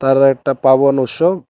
কারো একটা উৎসব।